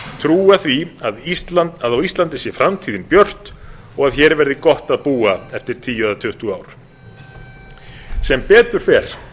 trúa því að á íslandi sé framtíðin björt og hér verði gott að búa eftir tíu eða tuttugu ár sem betur fer